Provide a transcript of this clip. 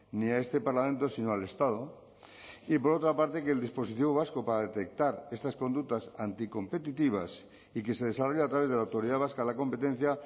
ni a este parlamento sino al estado y por otra parte que el dispositivo vasco para detectar estas conductas anticompetitivas y que se desarrolla a través de la autoridad vasca de la competencia